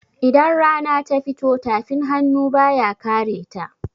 Idan rana ta fito, tafin hannu ba ya kareta.